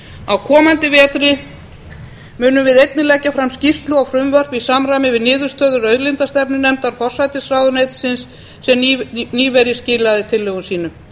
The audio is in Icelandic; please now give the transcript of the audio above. á komandi vetri munum við einnig leggja fram skýrslu og frumvörp í samræmi við niðurstöður auðlindastefnunefndar forsætisráðuneytisins sem nýverið skilaði tillögum sínum